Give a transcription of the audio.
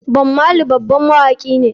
Bob marley babban mawaki ne.